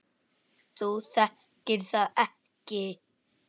Þú þekkir það ekki!